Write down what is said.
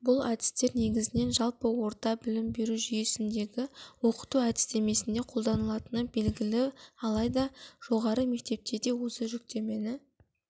бұл әдістер негізінен жалпы орта білім беру жүйесіндегі оқыту әдістемесінде қолданылатыны белгілі алайда жоғары мектепте де осы жіктемені